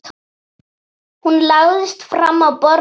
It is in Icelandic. Hún lagðist fram á borðið.